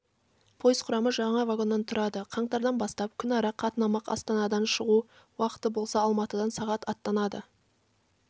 пойыз құрамы жаңа вагоннан тұрады қаңтардан бастап күнара қатынамақ астанадан шығу уақыты болса алматыдан сағат аттанады